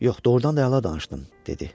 Yox, doğurdan da əla danışdım, dedi.